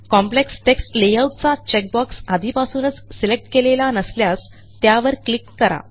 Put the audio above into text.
complex text layout चा check box आधीपासूनच select केलेला नसल्यास त्यावर क्लिक करा